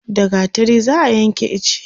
da gattari za'a Yanke iche